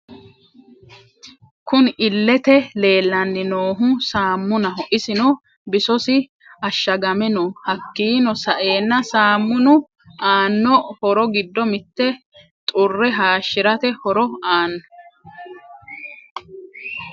Kunni illete leelani noohu saamunaho isino bisosi ashagame no hakiino sa'eena saamunu aano horro giddo mitte xurre hashirate horro aano.